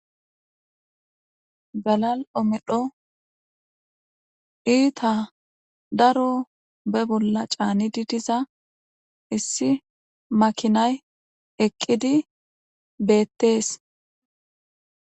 Galal7o medho iita daro be bolla caaniddi diza issi makinay eqqidi beetees.